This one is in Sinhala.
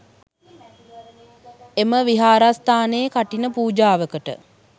එම විහාරස්ථානයේ කඨින පූජාවකට